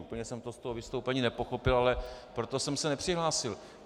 Úplně jsem to z toho vystoupení nepochopil, ale proto jsem se nepřihlásil.